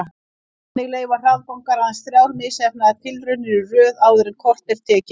Þannig leyfa hraðbankar aðeins þrjár misheppnaðar tilraunir í röð áður en kort er tekið.